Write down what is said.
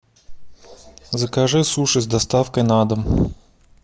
закажи суши с доставкой на дом